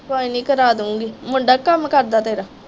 ਕੋਈ ਨਹੀਂ ਕਰਾਦੂਗੀ ਮੁੰਡਾ ਕੀ ਕੰਮ ਕਰਦਾ ਤੇਰਾ?